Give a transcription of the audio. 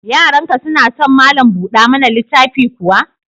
Yaranka suna son malam buɗa mana littafi kuwa?